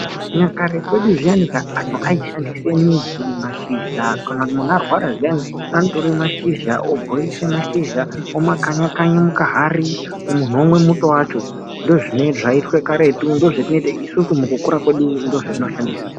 Makare edu zviyani antu aishandisa midzi, mashizha. Kana muntu arwara zviyani anotore mashizha obhoilisa mashizha omakanya kanya mukahari muntu omwe muto wacho. Ndozvaiitwa karetu, isusu. mukukura kwedu ndozvataishandisa.